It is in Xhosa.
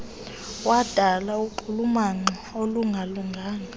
wadala unxulumano olungalinganiyo